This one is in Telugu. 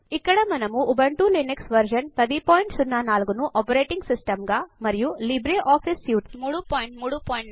ఇక్కడ మనము ఉబుంటు లినక్సు వెర్షన్ 1004 ను ఆపరేటింగ్ సిస్టమ్ గా మరియు లిబ్రేఆఫీస్ సూట్ 334